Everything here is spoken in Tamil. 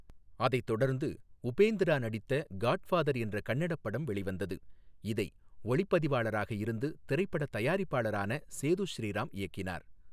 அதைத் தொடர்ந்து உபேந்திரா நடித்த காட்ஃபாதர் என்ற கன்னடப் படம் வெளிவந்தது, இதை ஒளிப்பதிவாளராக இருந்து திரைப்பட தயாரிப்பாளரான சேது ஸ்ரீராம் இயக்கினார்.